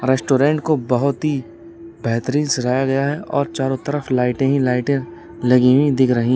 Restaurant को बहुत ही बेहतरीन सुनाया गया है और चारों तरफ लाइटें ही लाइटें लगी हुई दिख रही हैं।